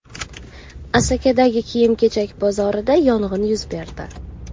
Asakadagi kiyim-kechak bozorida yong‘in yuz berdi.